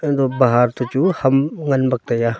eti bahar to chu ham ngan bak taiya.